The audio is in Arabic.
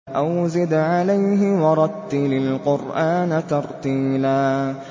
أَوْ زِدْ عَلَيْهِ وَرَتِّلِ الْقُرْآنَ تَرْتِيلًا